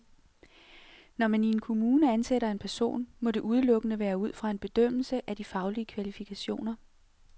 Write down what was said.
Når man i en kommune ansætter en person, må det udelukkende være ud fra en bedømmelse af de faglige kvalifikationer.